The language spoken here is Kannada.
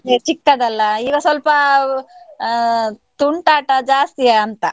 ಚಿಕ್ಕದಲ್ಲ ಈಗ ಸ್ವಲ್ಪ ಆ ತುಂಟಾಟ ಜಾಸ್ತಿಯಾ ಅಂತ?